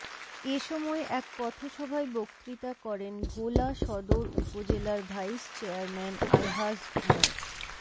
এ সময় এক পথসভায় বক্তৃতা করেন ভোলা সদর উপজেলার ভাইস চেয়ারম্যান আলহাজ মো